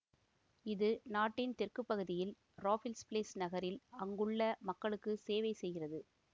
இது நாட்டின் தெற்கு பகுதியில் ராஃபிள்ஸ் பிளேஸ் நகரில் அங்குள்ள மக்களுக்கு செவைசெய்கிறது